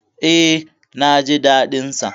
E, na ji daɗin sa.